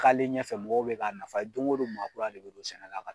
K'ale ɲɛfɛ mɔgɔw be ka nafa ye don ko don maakura de don sɛnɛ la ka